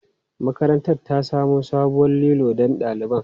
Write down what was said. Makarantar ta samo sabuwar lilo don ɗaliban.